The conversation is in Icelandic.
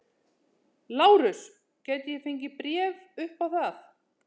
LÁRUS: Gæti ég fengið bréf upp á það?